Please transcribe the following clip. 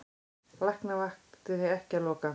Læknavaktin ekki að loka